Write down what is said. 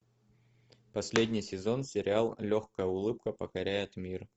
последний сезон сериал легкая улыбка покоряет мир